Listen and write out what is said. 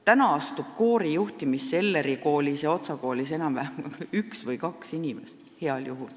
Nüüd astub koorijuhtimisse Elleri ja Otsa koolis heal juhul enam-vähem üks või kaks inimest.